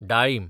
डाळीम